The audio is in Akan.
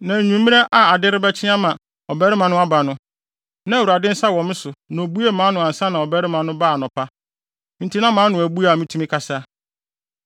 Na anwummere a ade rebɛkye ama ɔbarima no aba no, na Awurade nsa wɔ me so na obuee mʼano ansa na ɔbarima no baa anɔpa. Enti na mʼano abue a mitumi kasa.